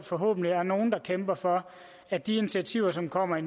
forhåbentlig er nogle der kæmper for at de initiativer som kommer i